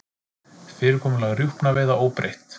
Fyrirkomulag rjúpnaveiða óbreytt